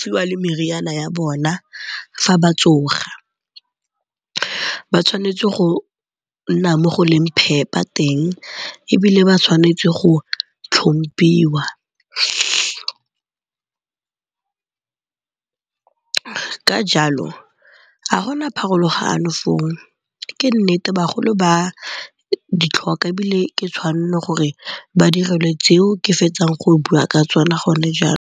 fiwa le meriana ya bona fa ba tsoga. Ba tshwanetse go nna mo go leng phepa teng ebile ba tshwanetse go tlhomphiwa ka jalo ga gona pharologano foo. Ke nnete bagolo ba ditlhoka ebile ke tshwanno gore ba direlwe tseo ke fetsang go bua ka tsona go ne .